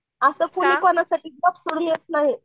असं कोणी कोणासाठी जॉब सोडून येत नाही